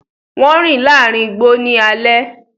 Wọn rin laarin igbo ni alẹ